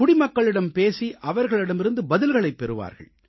குடிமக்களிடம் பேசி அவர்களிடமிருந்து பதில்களைப் பெறுவார்கள்